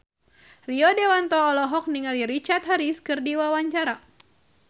Rio Dewanto olohok ningali Richard Harris keur diwawancara